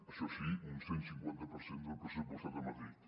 això sí un cent cinquanta per cent del pressupostat a madrid